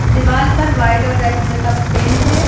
दीवाल पर वाइड और रेड कलर का पेंट है।